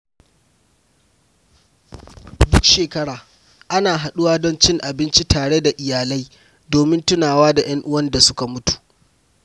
Duk shekara, ana haɗuwa don cin abinci tare da iyalai domin tunawa da yan'uwan da suka mutu